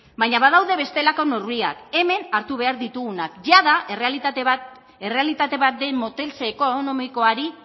baina badaude bestelako neurriak hemen hartu behar ditugunak jada errealitate bat den moteltze ekonomikoari